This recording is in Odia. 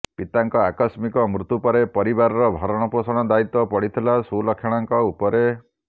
ପିତାଙ୍କ ଆକସ୍ମିକ ମୃତ୍ୟୁପରେ ପରିବାରର ଭରଣ ପୋଷଣ ଦାୟିତ୍ୱ ପଡ଼ିଥିଲା ସୁଲକ୍ଷଣାଙ୍କ ଉପରେ